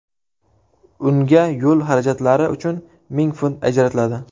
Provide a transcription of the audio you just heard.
Unga yo‘l xarajatlari uchun ming funt ajratiladi.